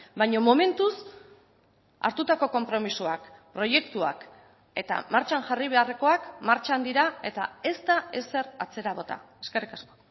baina momentuz hartutako konpromisoak proiektuak eta martxan jarri beharrekoak martxan dira eta ez da ezer atzera bota eskerrik asko